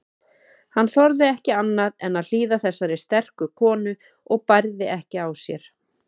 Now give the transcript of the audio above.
Hann þorði ekki annað en hlýða þessari sterku konu og bærði ekki á sér.